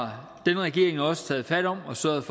her regering også taget fat om og sørget